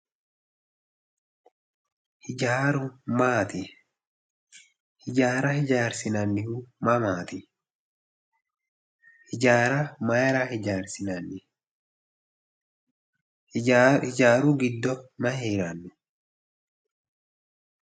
Hijaaru maati hijaara hijaarsinannihu mamaati hijaara mayira hijaarsinanni hijaaru giddo mayi heeranno